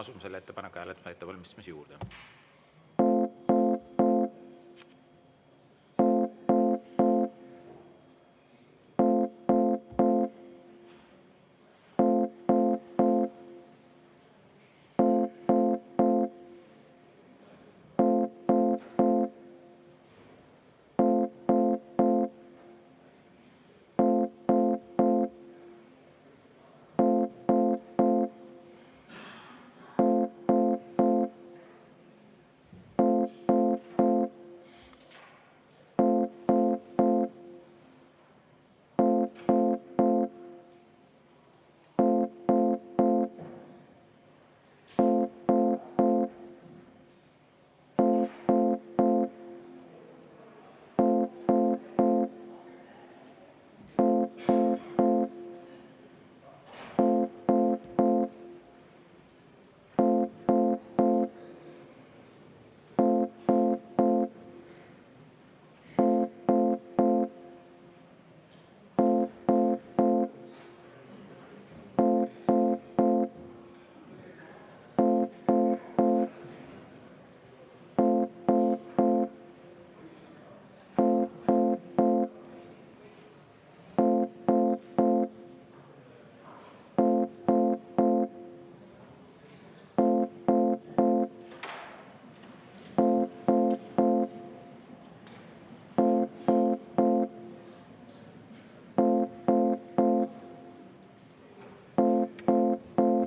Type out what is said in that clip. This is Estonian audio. Asume selle ettepaneku hääletamise ettevalmistamise juurde.